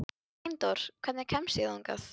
Steindór, hvernig kemst ég þangað?